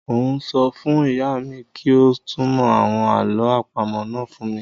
Un ó sọ fún ìyá mi kí ó túnmọ̀ àwọn àlọ́ àpamọ́ náà fún mi